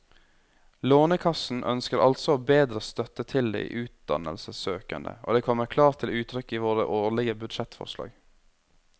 Lånekassen ønsker altså å bedre støtte til de utdannelsessøkende, og det kommer klart til uttrykk i våre årlige budsjettforslag.